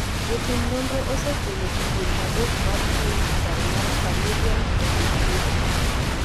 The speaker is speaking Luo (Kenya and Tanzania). jotim nonro osefwenyo kidienje adek mar tuo wichbar mar familial hemiplegic